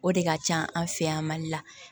O de ka ca an fɛ yan mali la